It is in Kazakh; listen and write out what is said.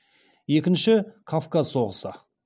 екінші кавказ соғысы